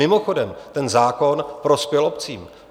Mimochodem, ten zákon prospěl obcím.